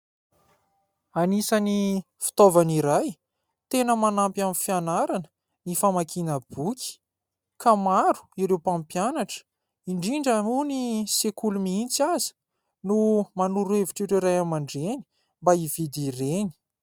Anisany fitaovana iray tena manampy amin'ny fianarana ny famakiana boky ka maro ireo mpampianatra indrindra moa ny sekoly mihitsy aza no manoro hevitra ireo Ray aman-dReny mba hividy ireny.